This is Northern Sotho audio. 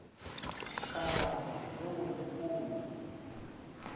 ka balwa le go lekolwa